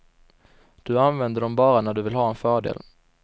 Du använder dom bara när du vill ha en fördel.